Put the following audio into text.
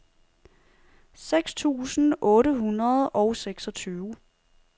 seks tusind otte hundrede og seksogtyve